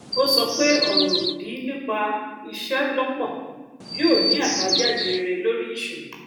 ó sọ pé ọrọ obi nípa ìṣelọpọ yóò ní àbájáde rere lórí ìṣòwò